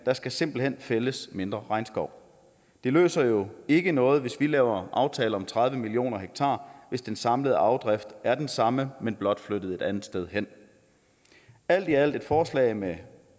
der skal simpelt hen fældes mindre regnskov det løser jo ikke noget hvis vi laver aftaler om tredive million ha hvis den samlede afdrift er den samme men blot flyttet et andet sted hen alt i alt er det et forslag med